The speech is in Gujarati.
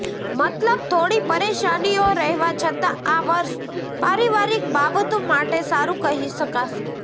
મતલબ થોડી પરેશાનીઓ રહેવા છતા આ વર્ષ પારિવારિક બાબતો માટેસારુ કહી શકાશે